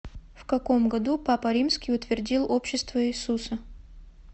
в каком году папа римский утвердил общество иисуса